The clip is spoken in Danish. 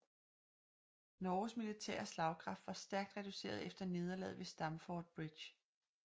Norges militære slagkraft var stærkt reduceret efter nederlaget ved Stamford Bridge